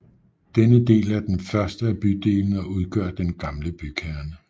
Denne del er den første af bydelene og udgør den gamle bykerne